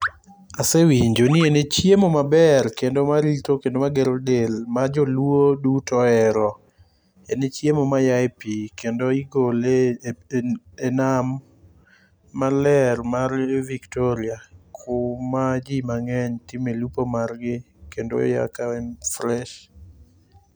Asewinjo ni ene chiemo maber kendo marito kendo ni magero del majoluo duto ohero en chiemo mayaye pi kendo igole e nam maler mar victoria kuma ji mange'ny timo e lupo margi kendo oya ka en fresh.